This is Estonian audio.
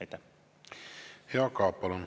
Jaak Aab, palun!